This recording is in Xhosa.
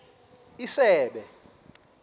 isebe